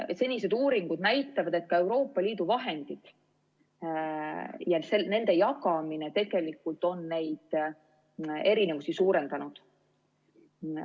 Senised uuringud näitavad, et ka Euroopa Liidu vahendid ja nende jagamine on neid erinevusi suurendanud.